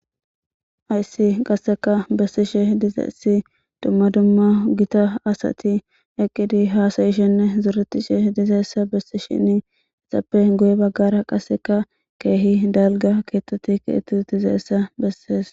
Haysi qaseka besishe dizaysi duma duma gita asati eqidi hasa'shene zoretishe dizaysa besishen izape guye bagara qaseka kehi dalga kethati kexeti utidaysa beses.